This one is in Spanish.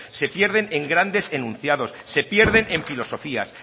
se pierden en grandes enunciados se pierden en filosofías